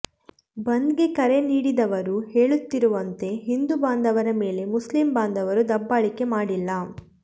ಬಂದ್ಗೆ ಕರೆ ನೀಡಿದವರು ಹೇಳುತ್ತಿರುವಂತೆ ಹಿಂದೂ ಬಾಂಧವರ ಮೇಲೆ ಮುಸ್ಲಿಂ ಬಾಂಧವರು ದಬ್ಬಾಳಿಕೆ ಮಾಡಿಲ್ಲ